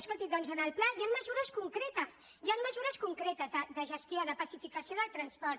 escolti doncs en el pla hi han mesures concretes hi han mesures concretes de gestió de pacificació del transport